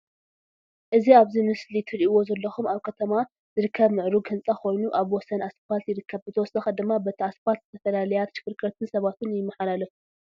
እ ዚ ኣብ እዚ ምስሊ ትርእዎ ዘለኩም ኣብ ከተማ ዝርከብ ምዕሩግ ህንፃ ኮይኑ አብ ወሰን አስፓልት ይርከብ፡፡ ብተወሳኺ ድማ በቲ አስፓልት ዝተፈላለያ ተሽከርከርትን ሰባትን ይመሓላለፉ፡፡